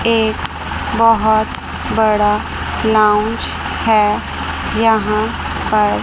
एक बहुत बड़ा लॉन्च है यहां पर--